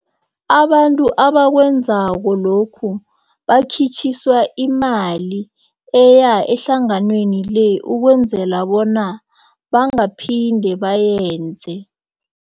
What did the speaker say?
Abantu abakwenzako lokhu bakhitjhiswa imali eya ehlanganweni le ukwenzela bona bangaphinde bayenze.